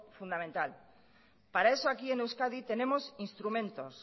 fundamental para eso aquí en euskadi tenemos instrumentos